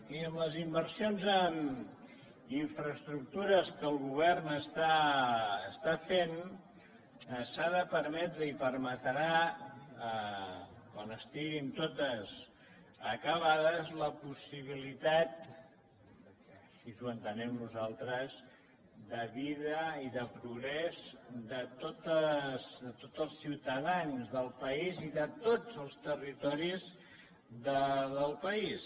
i amb les inversions en infraestructures que el govern està fent s’ha de permetre i la permetrà quan estiguin totes acabades la possibilitat i així ho entenem nosaltres de vida i de progrés de tots els ciutadans del país i de tots els territoris del país